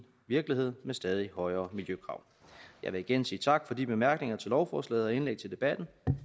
virkelighed med stadig højere miljøkrav jeg vil igen sige tak for de bemærkninger til lovforslaget og indlæg til debatten